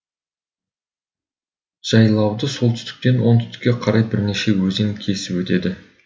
жайлауды солтүстіктен оңтүстікке қарай бірнеше өзен кесіп өтеді